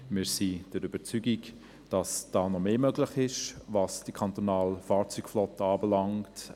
Wir sind der Überzeugung, dass mehr möglich ist, was die kantonale Fahrzeugflotte anbelangt.